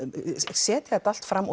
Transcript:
setja þetta allt fram